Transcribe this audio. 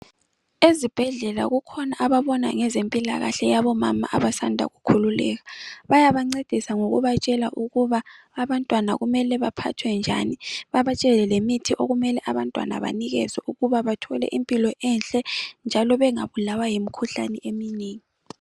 Ezibhendlela kukhona ababona ngezempilakahle yabomama abasanda kukhululeka bayabancedisa ngokubatshela ukuba abantwana kumele baphathwe njani babatshele lemithi okumele abantwana banikezwe ukuba bathole impilo enhle njalo bengabulawa yimikhuhlane eminengi